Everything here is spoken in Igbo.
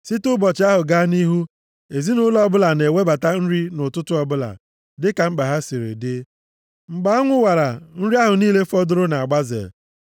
Site nʼụbọchị ahụ, gaa nʼihu, ezinaụlọ ọbụla na-ewebata nri nʼụtụtụ ọbụla, dịka mkpa ha siri dị. Mgbe anwụ wara, nri ahụ niile fọdụrụ na-agbaze.